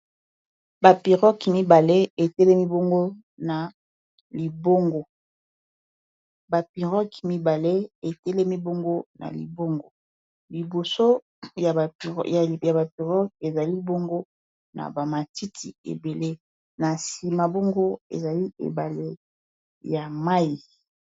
bapirogue mibale etelemi bongo na libongo liboso ya ba piroque ezali bongo na bamatiti ebele na sima bongo ezali ebale ya mai